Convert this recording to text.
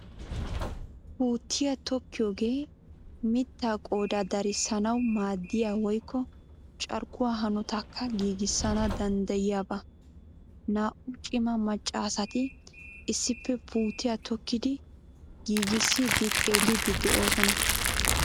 Puutiyaa tokkiyoogee mittaa qoodaa darissanawu maadiyaa woykko carkkuwaa hanotaakka giigissana danddayiyaaba. Naa"u cima maccaasati issippe puutiyaa tokkidi ggiigissidi xeellidi de'oosona.